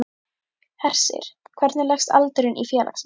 Hersir, hvernig leggst aldurinn í félagsmenn?